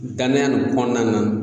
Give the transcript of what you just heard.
Danaya nin kɔnɔna na